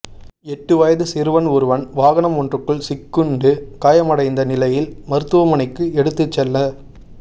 எட்டு வயது சிறுவன் ஒருவன் வாகனம் ஒன்றுக்குள் சிக்குண்டு காயமடைந்த நிலையில் மருத்துவமனைக்கு எடுத்துச் செல்ல